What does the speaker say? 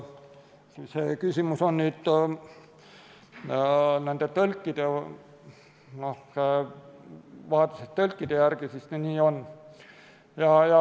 Kui see küsimus oli tõlkide vajaduse kohta, siis nii on.